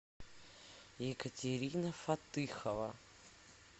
екатерина фатыхова